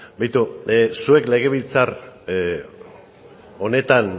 beitu zuek legebiltzar honetan